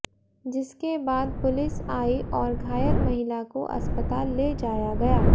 जिसके बाद पुलिस आई और घायल महिला को अस्पताल ले जाया गया